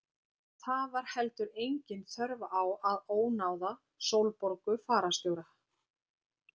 Og það var heldur engin þörf á að ónáða Sólborgu fararstjóra.